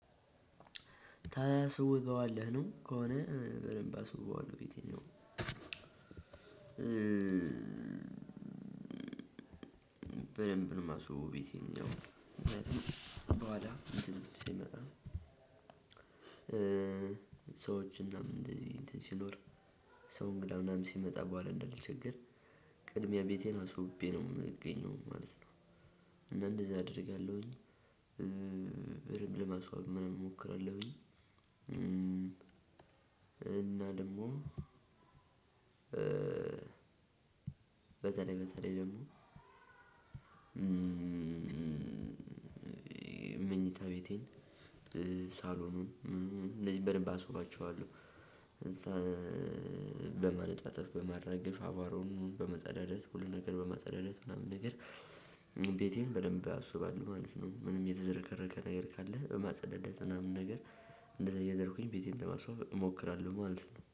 ታስውበዋለህ ነው ከሆነ በደንብ አስውበዋለሁ ቤተኛው በደንብ ነው ማስውበው ቤቴን ነው ምክንያቱም በሃላ ሲመጣ ሰዎች እናም እንደዚህ እንደዚህ ሲኖር ሰውን እንግዳ ምናምን ሲመጣ በኋላ እንዳልቸገር ቅድሚያ ቤቴን አስውቤ ነው ምገኘው ማለት ነው። እና እንደዚህ አደርጋለሁኝ። በርም ለማስዋብ ምንም እሞክራለሁኝ። እና ደሞም በተለይ በተለይ ደሞ መኝታ ቤቴን ሳሎኑን እንደዚህ በደንብ አስባችዋለው። በማነጣጠፍ በማራገፍ አቧሯውን በመጸዳዳት ሁሉን ነገር በማጸዳዳት ምናምን ነገር ቤቴን በደንብ ኣስብዋለው ማለት ነው። ምንም የተዘረከረከ ነገር ካለ በማጽዳት ምናምን ነገር እንደዛ እያደረኩኝ ቤቴን በማስዋብ እሞክራለው ማለት ነው